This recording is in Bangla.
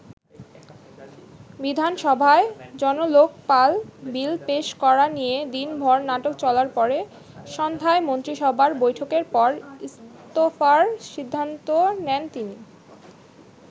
বিধানসভায় জনলোকপাল বিল পেশ করা নিয়ে দিনভর নাটক চলার পরে সন্ধ্যায় মন্ত্রীসভার বৈঠকের পর ইস্তফার সিদ্ধান্ত নেন তিনি।